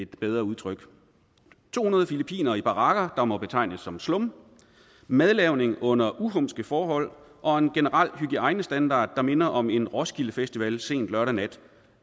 bedre udtryk to hundrede filippinere i barakker der må betegnes som slum madlavning under uhumske forhold og en generel hygiejnestandard der minder om en roskilde festival sent lørdag nat